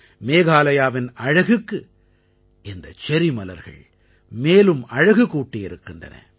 மேகாலயாவின் அழகுக்கு இந்த செர்ரி மலர்கள் மேலும் அழகு கூட்டியிருக்கின்றன